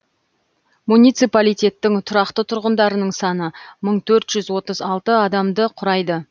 муниципалитеттің тұрақты тұрғындарының саны мың төрт жүз отыз алты адамды құрайды